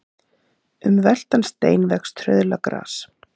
Um veltan stein vex trauðla gras.